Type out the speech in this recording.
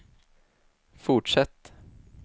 fortsätt